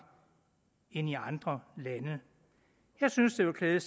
end i andre lande jeg synes det ville klæde